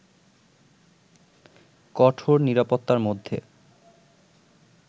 কঠোর নিরাপত্তার মধ্যে